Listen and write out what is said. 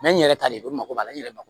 n yɛrɛ talen o mago b'a la n yɛrɛ ma